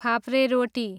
फापरे रोटी